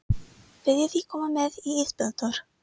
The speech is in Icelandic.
Viljiði koma með í ísbíltúr?